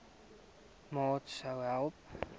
maat sou hê